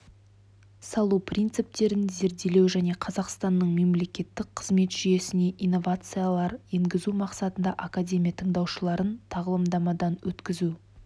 салу принциптерін зерделеу және қазақстанның мемлекеттік қызмет жүйесіне инновациялар енгізу мақсатында академия тыңдаушыларын тағылымдамадан өткізу